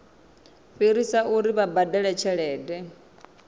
fhirisa uri vha badele tshelede